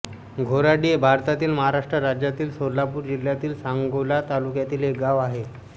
घेराडी हे भारतातील महाराष्ट्र राज्यातील सोलापूर जिल्ह्यातील सांगोला तालुक्यातील एक गाव आहे